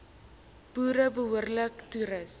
boere behoorlik toerus